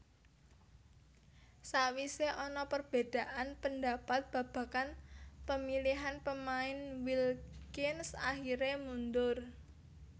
Sakwisé ana perbedaan pendapat babagan pemilihan pemain Wilkins akhiré mundur